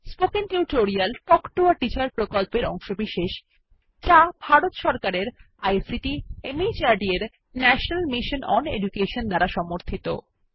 spoken tutorial talk to a teacher প্রকল্পের অংশবিশেষ যা ভারত সরকারের আইসিটি মাহর্দ এর ন্যাশনাল মিশন ওন এডুকেশন দ্বারা সমর্থিত